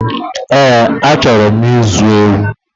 Eẹ́, achọrọ m ịzụ ewu